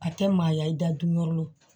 A tɛ maaya i da dun yɔrɔ